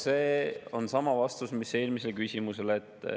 See on sama vastus mis eelmisele küsimusele.